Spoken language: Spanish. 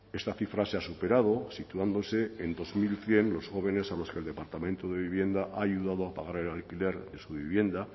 esta cifra se ha superado situándose en dos mil cien los jóvenes a los que el departamento de vivienda ha ayudado a pagar el alquiler de su vivienda